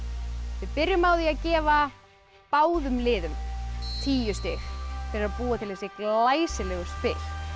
við byrjum á því að gefa báðum liðum tíu stig fyrir að búa til þessi glæsilegu spil